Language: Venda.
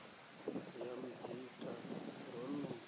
ri ya muzika ro no